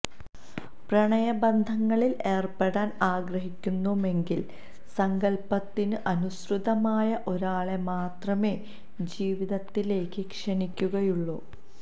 പ്രണയബന്ധങ്ങളിൽ ഏർപ്പെടാൻ ആഗ്രഹിക്കുമെങ്കിലും സങ്കൽപ്പത്തിന് അനുസൃതമായ ഒരാളെ മാത്രമേ ജീവിതത്തിലേക്ക് ക്ഷണിക്കുകയുള്ളൂ